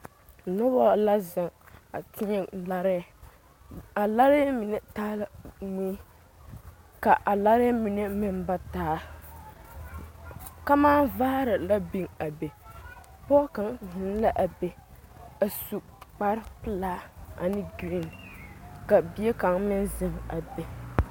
Noba la zeŋ a teɛ larɛɛ a larɛɛ mine taa la mui ka a larɛɛ mine meŋ ba taa kamaavaare la biŋ a be pɔge kaŋ zeŋ la a be a su kparepelaa ane girin ka bie kaŋ meŋ zeŋ a be.